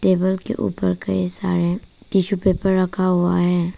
Table के ऊपर का हिस्सा है टिशू पेपर रखा हुआ है।